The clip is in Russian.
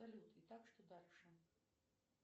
салют и так что дальше